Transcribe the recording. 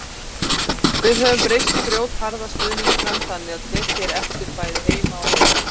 Við höfum breyst í grjótharða stuðningsmenn þannig að tekið er eftir bæði heima og heiman.